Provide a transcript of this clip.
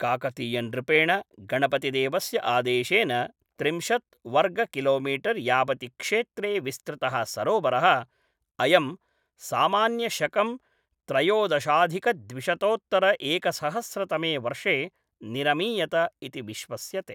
काकतीयनृपेण गणपतिदेवस्य आदेशेन त्रिंशत् वर्ग किलोमीटर् यावति क्षेत्रे विस्तृतः सरोवरः अयं सामान्य शकं त्रयोदशाधिकद्विशतोत्तर एकसहस्रतमे वर्षे निरमीयत इति विश्वस्यते।